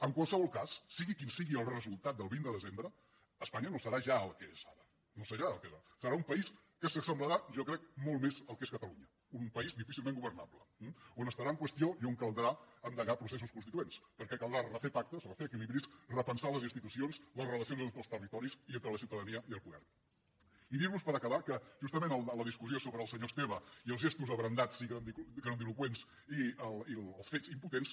en qualsevol cas sigui quin sigui el resultat del vint de desembre espanya no serà ja el que és ara no serà el que era serà un país que s’assemblarà jo crec molt més al que és catalunya un país difícilment governable eh que estarà en qüestió i on caldrà endegar processos constituents perquè caldrà refer pactes refer equilibris repensar les institucions les relacions entre els territoris i entre la ciutadania i el poderi dir los per acabar que justament en la discussió sobre el senyor esteve i els gestos abrandats i grandiloqüents i els fets impotents